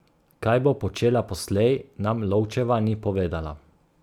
Kaj bo počela poslej, nam Lovčeva ni povedala.